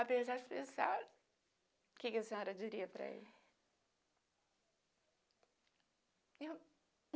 Apesar de pensar... O que a senhora diria para ele? Eu